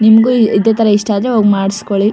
ನಿಮಗೂ ಇದೆ ತರ ಇಷ್ಟ ಆದ್ರೆ ಹೋಗಿ ಮಾಡಿಸಿಕೊಳ್ಳಿ-